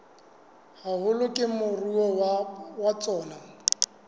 haholo ke moruo wa tsona